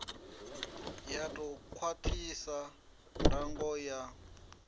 ya ḓo khwaṱhisa ndango ya